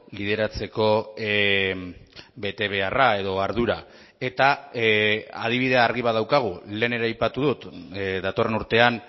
lideratzeko betebeharra edo ardura eta adibide argi bat daukagu lehen ere aipatu dut datorren urtean